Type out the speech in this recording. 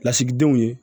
Lasigidenw ye